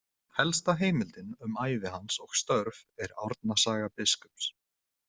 Helsta heimildin um ævi hans og störf er „Árna saga biskups“.